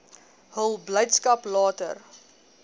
hul blydskap later